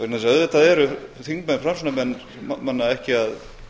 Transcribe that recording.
vegna þess að auðvitað eru þingmenn framsóknarmanna ekki að